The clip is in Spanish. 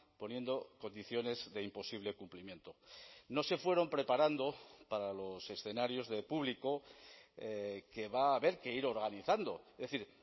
poniendo condiciones de imposible cumplimiento no se fueron preparando para los escenarios de público que va a haber que ir organizando es decir